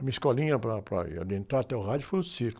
A minha escolinha para, para, aí, adentrar até o rádio foi o circo.